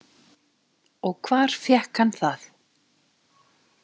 Og hvar fékk hann það?